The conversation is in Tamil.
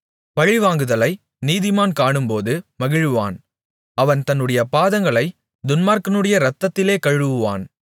பழிவாங்குதலை நீதிமான் காணும்போது மகிழுவான் அவன் தன்னுடைய பாதங்களைத் துன்மார்க்கனுடைய இரத்தத்திலே கழுவுவான்